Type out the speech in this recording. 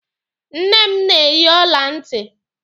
Nne m na-eyi ọla ntị.